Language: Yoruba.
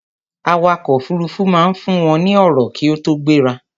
Awakọ̀ òfurufú máa ń fún wọn ní ọ̀rọ̀ kí ó tó gbéra